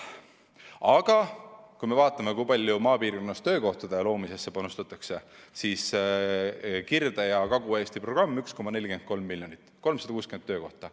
Aga kui me vaatame, kui palju maapiirkonnas töökohtade loomisesse panustatakse, siis näeme, et Kirde- ja Kagu-Eesti programmi 1,43 miljonit eurot, 360 töökohta.